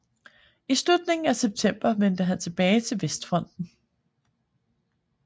I slutningen af september vendte han tilbage til Vestfronten